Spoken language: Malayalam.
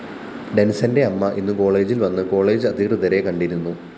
ഡെന്‍സന്റെ അമ്മ ഇന്നു കോളേജില്‍ വന്ന് കോളേജ്‌ അധികൃതരെ കണ്ടിരുന്നു